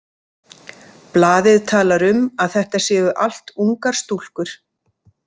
Blaðið talar um að þetta séu allt ungar stúlkur.